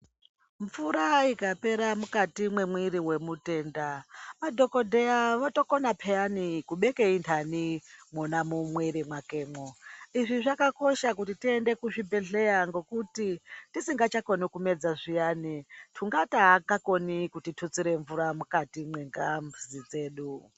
Mvura ikapera mukati mwemwiri mwemutenda, madhokodheya votokona pheyani kubeka intani mwona mumwiri mwakemwo. Izvi zvaka kosha kuti tiende kuzvibhedhleya ngekuti tisingachakoni kumedza zviyani, tungata aanga koni kutitutsire mvura mukati mwengazi dzedu.